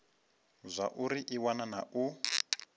zwauri i wana na u